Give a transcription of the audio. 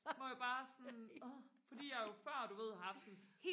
hvor jeg bare sådan åh fordi jeg jo før du ved har haft sådan